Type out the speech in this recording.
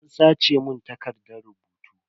An sace mun takardan rubutu.